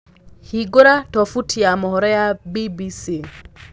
hĩngura tobuti ya mohoro ma B.B.C